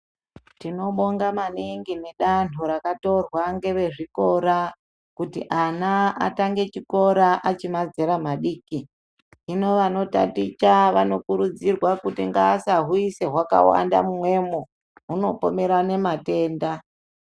Tinobonga maningi nedanho rakatorwa ngevezvikora kuti ana atange chikora achimazera madiki. Hino vanotaticha vanokurudzirwa kuti ngaasahuisa hwakawanda mumwemo, hunopomerane matenda.